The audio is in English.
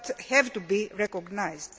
That has to be recognised.